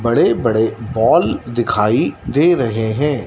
बड़े बड़े बॉल दिखाई दे रहें हैं।